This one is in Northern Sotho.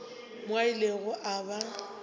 mo a ilego a ba